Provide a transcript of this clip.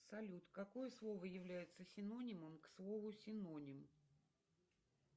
салют какое слово является синонимом к слову синоним